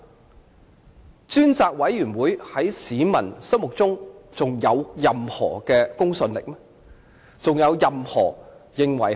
屆時專責委員會在市民心目中還有任何公信力嗎？